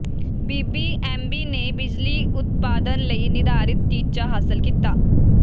BBMB ਨੇ ਬਿਜਲੀ ਉਤਪਾਦਨ ਲਈ ਨਿਰਧਾਰਿਤ ਟੀਚਾ ਹਾਸਲ ਕੀਤਾ